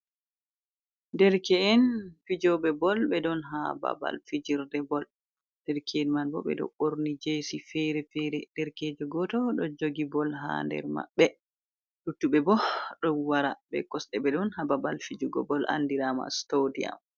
Derke’en fijoɓe bol ɓe ɗon ha babal fijirde bol, derke'en man bo ɓeɗo borni jesi fere-fere, derkejo goto ɗo jogi bol ha nder maɓɓe, luttuɓe bo ɗo wara be kosɗe, ɓe ɗon ha babal fijugo bol andirama stodiam.